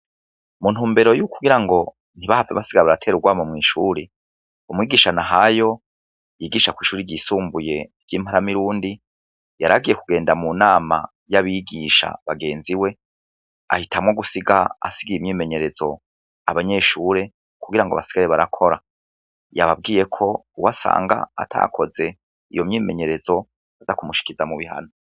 mu ntumbero y'ukugira ngo ntibahave basigar baratera ugwama mw'ishuri umwigisha nahayo yigisha kw' ishuri ryisumbuye ry'imparamirundi yaragiye kugenda mu nama y'abigisha bagenzi we ahitamwo gusiga asigaye imyimenyerezo abanyeshuri kugira ngo basigare barakora yababwiye ko uwasanga atakoze iyo myimenyerezo aza kumushikiza mu bihano